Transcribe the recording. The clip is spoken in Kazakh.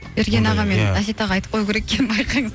ерген аға мен әсет ағаға айтып қою керек екен байқаңыз